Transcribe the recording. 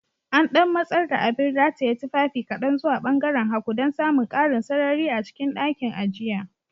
An ɗan matsar da abin rataye tufafi kaɗan zuwa ɓangaaren hagu dan samun ƙarin sarari a cikin ɗakin, a jiya